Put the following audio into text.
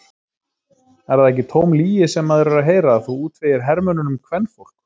Er það ekki tóm lygi sem maður er að heyra að þú útvegir hermönnunum kvenfólk?